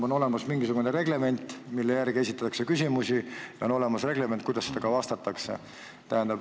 On olemas mingisugune reglement, mille järgi esitatakse küsimusi, ja on olemas reglement, kuidas vastatakse.